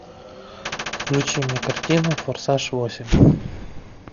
включи мне картину форсаж восемь